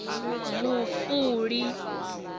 vhufuli